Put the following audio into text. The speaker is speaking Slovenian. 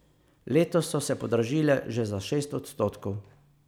Letos so se podražile že za šest odstotkov.